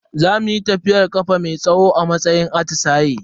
Za muyi tafiyar kafa mai tsawo a matsayin atisaye.